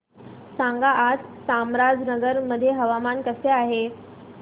सांगा आज चामराजनगर मध्ये हवामान कसे आहे